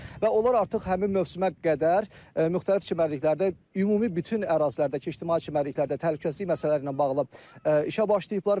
Və onlar artıq həmin mövsümə qədər müxtəlif çimərliklərdə ümumi bütün ərazilərdəki ictimai çimərliklərdə təhlükəsizlik məsələləri ilə bağlı işə başlayıblar.